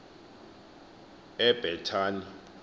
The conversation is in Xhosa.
ebhethani